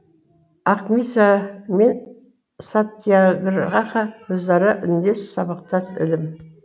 ақмиса мен сатьяграха өзара үндес сабақтас ілім